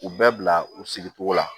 U bɛɛ bila u sigicogo la